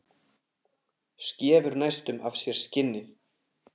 Skefur næstum af sér skinnið.